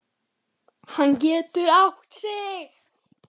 Hann getur átt sig.